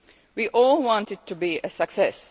year. We all want it to be a success.